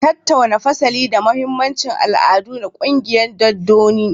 Tattauna fasali da mahimmancin al'adu na ƙungiyoyin dodanni